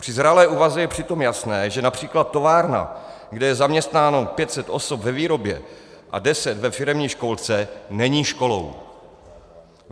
Při zralé úvaze je přitom jasné, že například továrna, kde je zaměstnáno 500 osob ve výrobě a 10 ve firemní školce, není školou.